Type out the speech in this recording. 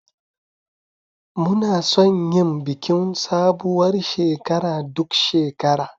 Muna son yin bikin sabuwar shekara duk shekara.